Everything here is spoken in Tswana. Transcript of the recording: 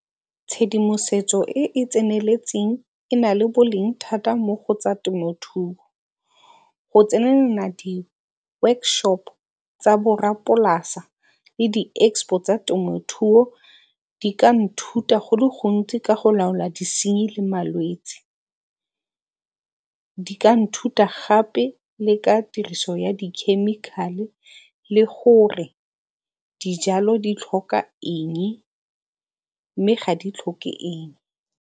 Tshedimosetso e e tseneletseng e na le boleng thata mo go tsa temothuo. Go tsenelela di-workshop tsa borrapolasa le di-expo tsa temothuo di ka nthuta go le gontsi ka go laola disenyi le malwetsi. Di ka nthuta gape le ka tiriso ya di-chemical-e le gore dijalo di tlhoka eng mme ga di tlhoke eng.